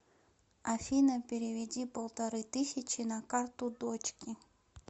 афина переведи полторы тысячи на карту дочке